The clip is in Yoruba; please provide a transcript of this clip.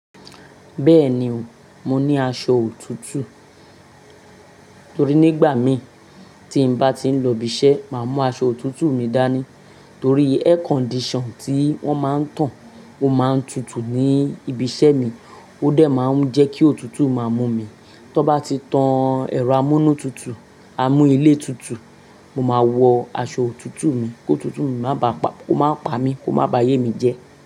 Bẹ́ẹ̀ni o, mo ní aṣọ òtútù torí nígbà mi tí n bá ti ń lọ ibi iṣẹ́ máa mú aṣọ òtútù mi dání torí air condition tí wọ́n máa ń tàn ó máa ń tutù ní ibi iṣẹ́ mi, ó dẹ̀ máa ń jẹ́ kí òtútù máa mú mi. Tọ n bá ti tán ẹ̀rọ amúnútutù, amúílé tutù, mo máa wọ aṣọ òtútù mi kó òtútù máa bá pa, kó máa pa mi, ko maa ba ayé mi jẹ́.